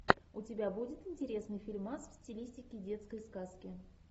у тебя будет интересный фильмас в стилистике детской сказки